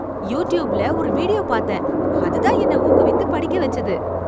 யூடியூப்ல ஒரு வீடியோ பாத்தேன், அதுதான் என்ன ஊக்குவித்து படிக்க வச்சது.